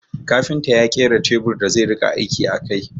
Kafinta ya kera teburin da zai rika aiki a kai